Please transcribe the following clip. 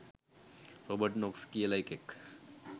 Robert Knox කියල එකෙක්